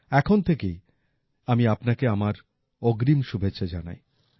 এখন থেকেই আমি আপনাকে আমার অগ্রিম শুভেচ্ছা জানাই